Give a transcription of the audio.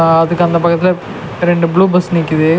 ஆ அதுக்கு அந்த பக்கத்துல ரெண்டு ப்ளூ பஸ் நிக்கிது.